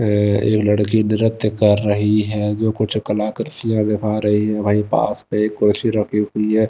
है ये लड़की नृत्य कर रही है जो कुछ कलाकृतियां निभा रही है वहीं पास में एक कुर्सी रखी हुई है।